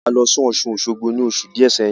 A lọ sí Ọ̀ṣun-Osogbo ní oṣù díẹ̀ sẹ́yìn